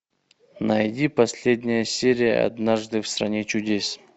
найди последняя серия однажды в стране чудес